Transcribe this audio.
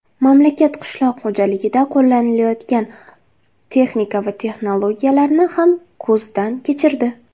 mamlakat qishloq xo‘jaligida qo‘llanilayotgan texnika va texnologiyalarni ham ko‘zdan kechirdi.